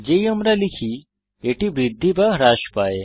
যেই আমরা লিখি এটি বৃদ্ধি বা হ্রাস পায়